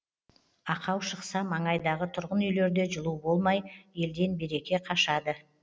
ақау шықса маңайдағы тұрғын үйлерде жылу болмай елден береке қашады